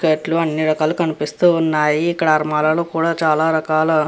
సెట్లు కూడా అని రకాలు కనిపిస్తూ ఉన్నాయి. ఇక్కడ అల్లమరా కూడా చాలా రకాల --